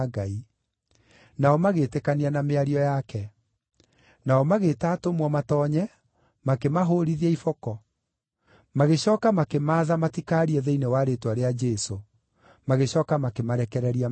Nao magĩĩtĩkania na mĩario yake. Nao magĩĩta atũmwo matoonye makĩmahũũrithia iboko. Magĩcooka makĩmaatha matikaarie thĩinĩ wa rĩĩtwa rĩa Jesũ, magĩcooka makĩmarekereria mathiĩ.